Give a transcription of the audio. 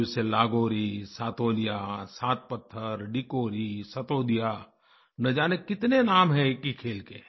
कोई उसे लागोरी सातोलिया सात पत्थर डिकोरी सतोदिया न जाने कितने नाम हैं एक ही खेल के